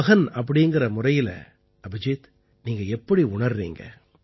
ஒரு மகன் என்ற முறையில் அபிஜீத் நீங்க எப்படி உணர்றீங்க